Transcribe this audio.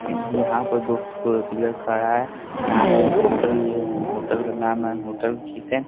यहां पर दो पिलर खड़ा है यहां पे होटल भी है होटल का नाम है होटल किसन।